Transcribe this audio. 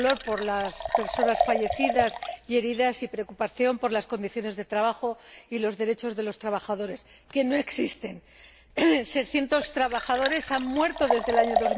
Dolor, por las personas fallecidas y heridas, y preocupación, por las condiciones de trabajo y los derechos de los trabajadores, que no existen. Seiscientos trabajadores han muerto desde el año